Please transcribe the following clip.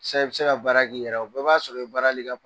Sisan i bɛ se ka baara k'i yɛrɛ ye o bɛ b'a sɔrɔ i bɛ baarali i ka